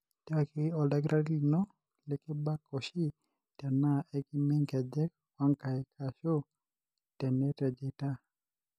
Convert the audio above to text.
tiaki oldakitari lino likibak oshi tena ekimee nkejek onkaik ashu tenetejeita.